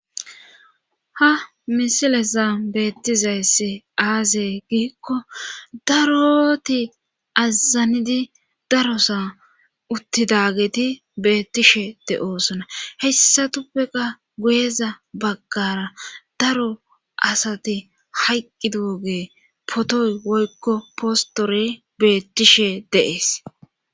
ha misilezna beettizayss aazee giikko daroti azanidi darosa uttidageti beettishe de7oosona hessatuppeka goyeza baggara daro asati hayqqi dooge potoy woykko postore beettishe de,es